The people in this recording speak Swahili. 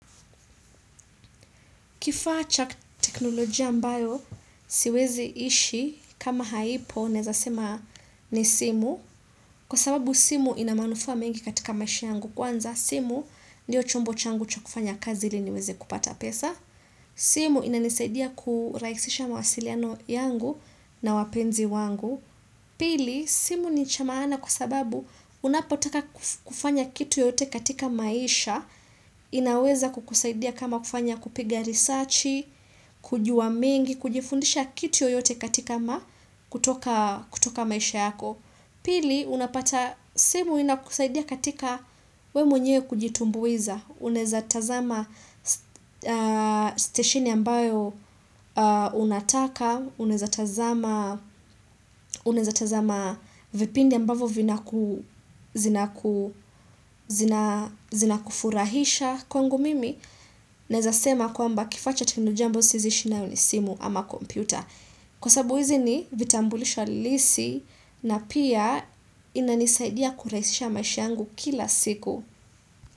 Kifaa cha teknolojia ambayo siwezi ishi kama haipo nezasema ni simu, kwa sababu simu ina manufa mengi katika maisha yangu, kwanza, simu ndio chombo changu cha kufanya kazi ili niweze kupata pesa. Simu inanisaidia kurahishisha mawasiliano yangu na wapenzi wangu. Pili, simu ni cha maana kwa sababu, unapataka kufanya kitu yoyote katika maisha, inaweza kukusaidia kama kufanya kupiga risachi, kujua mengi, kujifundisha kitu yote katika kutoka maisha yako. Pili, unapata simu inakusaidia katika wewe mwenyewe kujitumbuiza, uneza tazama stesheni ambayo unataka, unaeza tazama uneza tazama vipindi ambavyo vinaku, zinakufurahisha. Kwangu mimi, naweza sema kwamba kifaa chote ni jambo siwezi ishi nayo ni simu ama kompyuta. Kwa sababu hizi, ni vitambulisho halisi, na pia, inanisaidia kurahisisha maisha yangu kila siku.